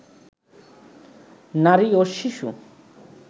নারী ও শিশু